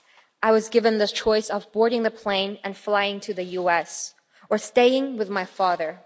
I was given the choice of boarding the plane and flying to the US, or staying with my father.